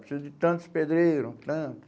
Precisa de tantos pedreiros, tanto.